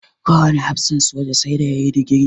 Kowane hafsan soja sai da ya yi digiri.